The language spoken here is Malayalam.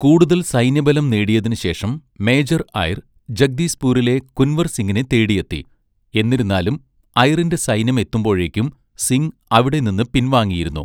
കൂടുതൽ സൈന്യബലം നേടിയതിന് ശേഷം മേജർ ഐർ ജഗ്ദീസ്പൂരിലെ കുൻവർ സിംഗിനെ തേടിയെത്തി. എന്നിരുന്നാലും ഐറിന്റെ സൈന്യം എത്തുമ്പോഴേക്കും സിംഗ് അവിടെനിന്ന് പിൻവാങ്ങിയിരുന്നു.